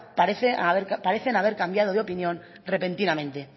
parecen haber cambiado de opinión repentinamente